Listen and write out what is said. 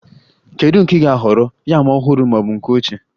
Kedu nke ị na-ahọrọ, yam ọhụrụ ma ọ bụ ochie?